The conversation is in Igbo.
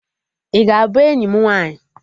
Ị ga-abụ enyi m nwaanyị?